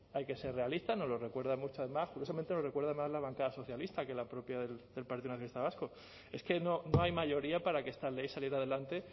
hay que ser realista nos lo recuerdan muchas más curiosamente lo recuerda mucho más la bancada socialista que la propia del partido nacionalista vasco es que no hay mayoría para que esta ley saliera adelante